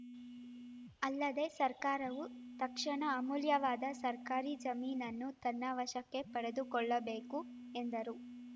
ಅಲ್ಲದೇ ಸರ್ಕಾರವು ತಕ್ಷಣ ಅಮೂಲ್ಯವಾದ ಸರ್ಕಾರಿ ಜಮೀನನನ್ನು ತನ್ನ ವಶಕ್ಕೆ ಪಡೆದುಕೊಳ್ಳಬೇಕು ಎಂದರು